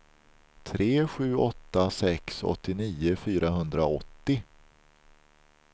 tre sju åtta sex åttionio fyrahundraåttio